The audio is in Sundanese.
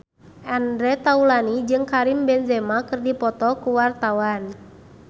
Andre Taulany jeung Karim Benzema keur dipoto ku wartawan